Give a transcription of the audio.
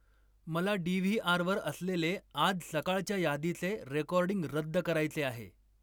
मला डी.व्ही.आर. वर असलेले आज सकाळच्या यादीचे रेकॉर्डिंग रद्द करायचे आहे